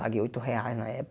Paguei oito reais na